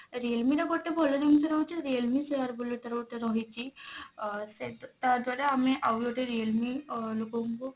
realme ର ଗୋଟେ ଭଲ ଜିନିଷ ରହୁଛି realme share ବୋଲି ଗୋଟେ ତାର ରହିଛି ସେ ତା ଦ୍ଵାରା ଆମେ ଆଉ ଗୋଟେ realme ଆ ଲୋକଙ୍କୁ